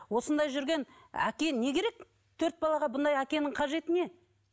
осындай жүрген әке не керек төрт балаға мұндай әкенің қажеті не